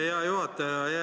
Hea juhataja!